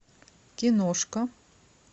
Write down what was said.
киношка